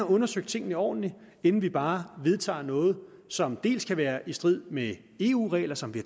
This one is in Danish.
undersøgt tingene ordentligt inden vi bare vedtager noget som dels kan være i strid med eu regler som vi